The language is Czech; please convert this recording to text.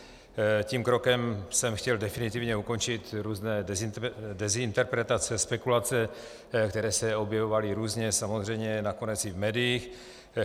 Tím krokem jsem chtěl definitivně ukončit různé dezinterpretace, spekulace, které se objevovaly různě, samozřejmě nakonec i v médiích.